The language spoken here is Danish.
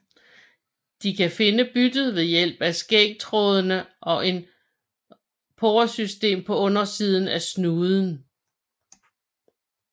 De kan finde byttet ved hjælp af skægtrådene og et poresystem på undersiden af snuden